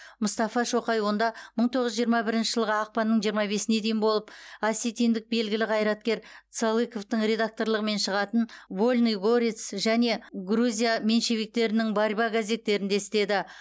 мұстафа шоқай онда мың тоғыз жүз жиырма бірінші жылғы ақпанның жиырма бесіне дейін болып осетиндік белгілі қайраткер цалыковтың редакторлығымен шығатын вольный горец және грузия меньшевиктерінің борьба газеттерінде істеді